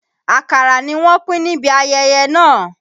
Àkàrà ni wọ́n pín níbí ayẹyẹ náà.